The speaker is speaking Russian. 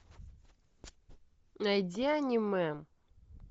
найди аниме